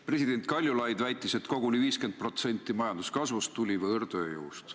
President Kaljulaid väitis, et koguni 50% majanduskasvust tuli võõrtööjõust.